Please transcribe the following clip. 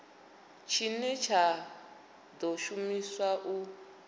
tshine tsha ḓo shumiswa u